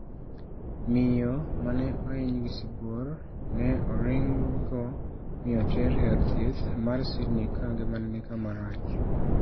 Miyo mane ohiny gi sibuor ne oringgo mi oter e od thieth mar Sydney ka ngimane ni kama rach.